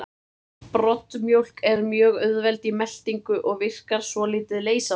Broddmjólk er mjög auðveld í meltingu og virkar svolítið leysandi.